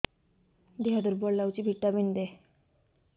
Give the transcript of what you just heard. ଦିହ ଦୁର୍ବଳ ଲାଗୁଛି ଭିଟାମିନ ଦେ